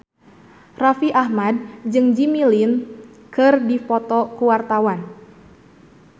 Raffi Ahmad jeung Jimmy Lin keur dipoto ku wartawan